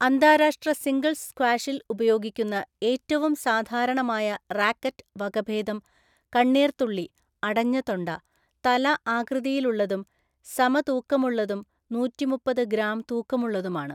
അന്താരാഷ്ട്ര സിംഗിൾസ് സ്ക്വാഷിൽ ഉപയോഗിക്കുന്ന ഏറ്റവും സാധാരണമായ റാക്കറ്റ് വകഭേദം കണ്ണീർത്തുള്ളി (അടഞ്ഞ തൊണ്ട) തല ആകൃതിയിലുള്ളതും സമതൂക്കമുള്ളതും നൂറ്റിമുപ്പത് ഗ്രാം തൂക്കമുള്ളതുമാണ്.